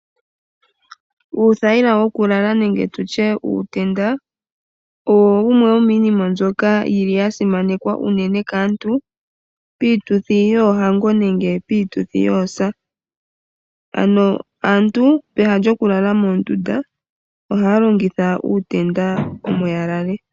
Uuthayila wokulala nenge tutye uutenda, owo wumwe wo miinima mbyoka yi li ya simanekwa unene kaantu piituthi yoohango nenge piituthi yoosa. Pehala aantu ya lale moondunda, ohaya longitha uutenda omo ya lale.